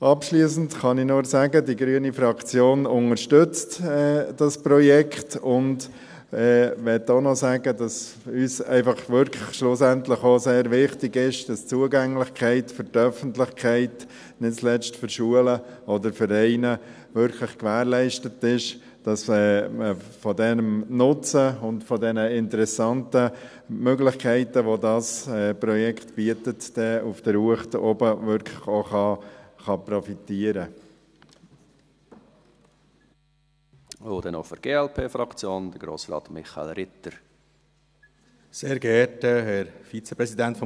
Abschliessend kann ich nur sagen, die grüne Fraktion unterstützt das Projekt und möchte auch noch sagen, dass uns einfach wirklich auch schlussendlich auch sehr wichtig ist, dass die Zugänglichkeit für die Öffentlichkeit nicht zuletzt für Schulen oder Vereine wirklich gewährleistet ist, dass man von diesem Nutzen und diesen interessanten Möglichkeiten, die dieses Projekt bietet auf der Uecht oben, wirklich auch profitieren kann.